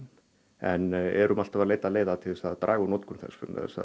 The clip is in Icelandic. en erum alltaf að leita leiða til að draga úr notkun þess